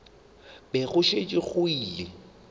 be go šetše go llile